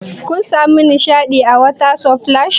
Kun samu nishaɗi a water splash?